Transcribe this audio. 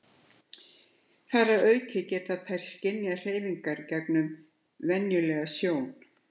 Þar að auki geta þær skynjað hreyfingar gegnum venjulega sjón.